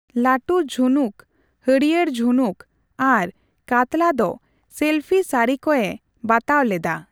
ᱞᱟᱴᱩ ᱡᱷᱩᱱᱩᱠ, ᱦᱟᱹᱲᱭᱟᱹᱨ ᱡᱷᱩᱱᱩᱠ, ᱟᱨ ᱠᱟᱛᱞᱟ ᱫᱚ ᱥᱮᱞᱯᱷᱤᱥᱟᱨᱤᱠ ᱮ ᱵᱟᱛᱟᱣ ᱞᱮᱫᱟ ᱾